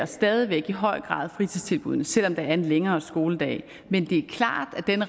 stadig i høj grad tilvælger fritidstilbuddene selv om der er en længere skoledag men det er klart at den